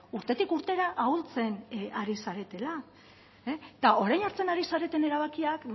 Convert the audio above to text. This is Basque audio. urtetik urtera ahultzen ari zaretela eta orain hartzen ari zareten erabakiak